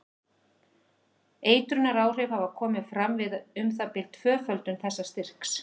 Eitrunaráhrif hafa komið fram við um það bil tvöföldun þessa styrks.